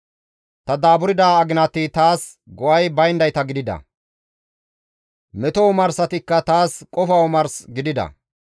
Ta daaburda aginati taas go7ay bayndayta gidida; meto omarsatikka taas qofa omars gidida.